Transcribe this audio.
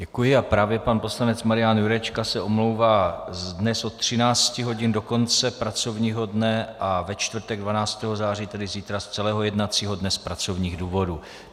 Děkuji a právě pan poslanec Maria Jurečka se omlouvá dnes od 13 hodin do konce pracovního dne a ve čtvrtek 12. září, tedy zítra, z celého jednacího dne z pracovních důvodů.